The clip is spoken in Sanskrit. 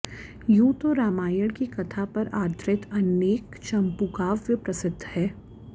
यूँ तो रामायण की कथा पर आधृत अनेक चंपूकाव्य प्रसिद्ध है